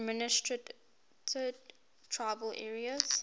administered tribal areas